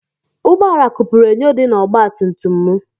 Ụgbọ ala kụpuru enyo dị na ọgba tum tum m.